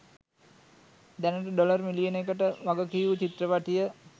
දැනටඩොලර් මිලියනකටවග කියූ චිත්‍රපටිය